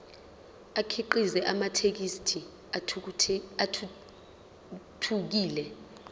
akhiqize amathekisthi athuthukile